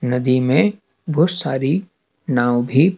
नदी में बहुत सारी नाव भी--